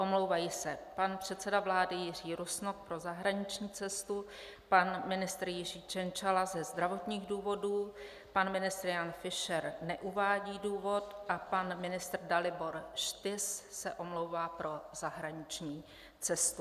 Omlouvají se pan předseda vlády Jiří Rusnok pro zahraniční cestu, pan ministr Jiří Cienciala ze zdravotních důvodů, pan ministr Jan Fischer neuvádí důvod a pan ministr Dalibor Štys se omlouvá pro zahraniční cestu.